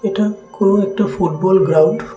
এটা কোন একটা ফুটবল গ্রাউন্ড ।